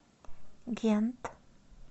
гент